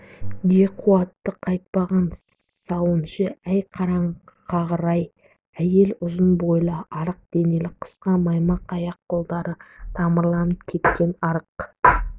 де қуаты қайтпаған сауыншы әй қараңқағыр-ай әйел ұзын бойлы арық денелі қысқа маймақ аяқты қолдары тамырланып кеткен арық